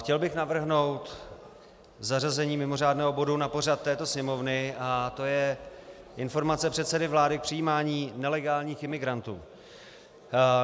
Chtěl bych navrhnout zařazení mimořádného bodu na pořad této sněmovny, a to je informace předsedy vlády k přijímání nelegálních imigrantů.